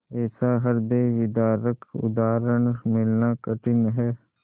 ऐसा हृदयविदारक उदाहरण मिलना कठिन है